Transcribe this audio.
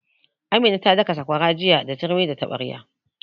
Amina ta daka sakwara jiya da turmi da taɓarya